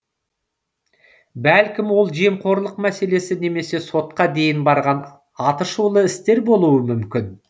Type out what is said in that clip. бәлкім ол жемқорлық мәселесі немесе сотқа дейін барған атышулы істер болуы мүмкін